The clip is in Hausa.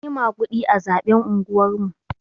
Anyi maguɗi a zaɓen unguwar mu.